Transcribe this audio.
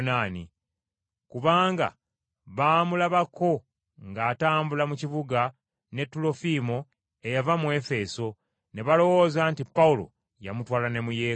Kubanga baamulabako ng’atambula mu kibuga ne Tulofiimo, eyava mu Efeso, ne balowooza nti Pawulo yamutwala ne mu Yeekaalu.